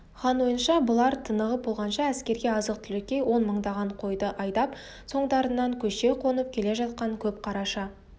хан ойынша бұлар тынығып болғанша әскерге азық-түлікке он мыңдаған қойды айдап соңдарынан көше қонып келе жатқан көп қараша